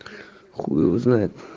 хуй его знает